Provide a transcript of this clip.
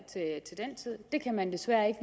det kan man desværre ikke